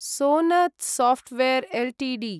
Sonata software LTD